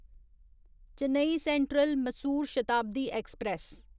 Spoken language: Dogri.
Chennai central Mysuru Shatabdi express